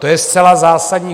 To je zcela zásadní.